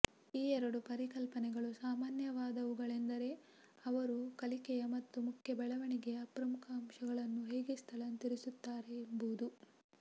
ಈ ಎರಡು ಪರಿಕಲ್ಪನೆಗಳು ಸಾಮಾನ್ಯವಾದವುಗಳೆಂದರೆ ಅವರು ಕಲಿಕೆಯ ಮತ್ತು ಮುಖ್ಯ ಬೆಳವಣಿಗೆಯ ಪ್ರಮುಖ ಅಂಶಗಳನ್ನು ಹೇಗೆ ಸ್ಥಳಾಂತರಿಸುತ್ತಾರೆ ಎಂಬುದು